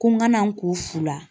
Ko n kana n k'o fu la